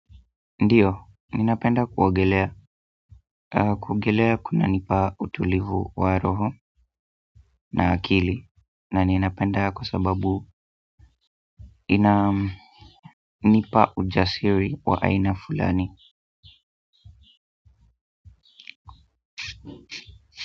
Ndiyo, ninapenda kuogelea. Kuogelea kunanipa utulivu wa roho na akili. Na ninapenda kwa sababu ina, nipa ujasiri wa aina fulani.